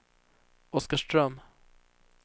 Oskarström